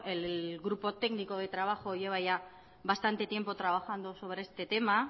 el grupo técnico de trabajo lleva ya bastante tiempo trabajando sobre este tema